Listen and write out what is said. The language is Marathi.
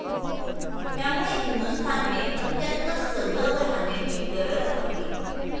त्यामुळे हिंदुस्थानने अत्यंत सजग राहण्याची गरज आहे.